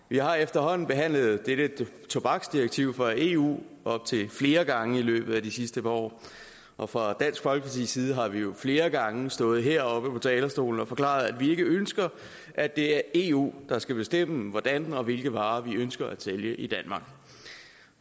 vi har efterhånden behandlet dette tobaksdirektiv fra eu op til flere gange i løbet af de sidste par år og fra dansk folkepartis side har vi jo flere gange stået heroppe på talerstolen og forklaret at vi ikke ønsker at det er eu der skal bestemme hvordan og hvilke varer man ønsker at sælge i danmark